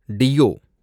deo